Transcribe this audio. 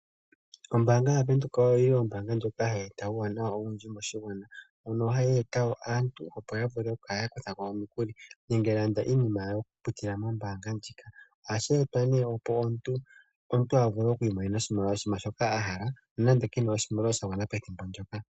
Ombaanga ya Windhoek oyi yili hayi eta uuwanawa owundji moshigwana mono hayi eta wo opo aantu yavule oku kala ya kutha ko omukuli nenge ya lande iinima yawo okupitila mombaanga ndjika, ohashi etwa nee opo omuntu a vule okwiimonena oshinima shoka ahala no nande kena oshimaliwa sha gwana pethimbo ndyoka